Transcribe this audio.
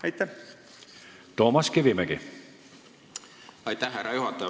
Aitäh, härra juhataja!